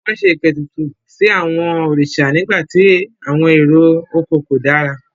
Wọ́n ṣe ìpètùtù sí àwọn òrìṣà nígbà tí àwọn èrè oko kò dára.